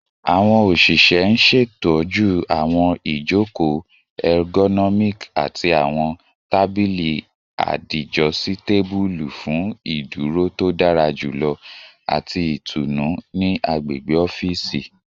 Awọn oṣiṣẹ n ṣetọju awọn ijoko ergonomic ati awọn tabili adijositabulu fun iduro to dara julọ ati itunu ni agbegbe ọfiisi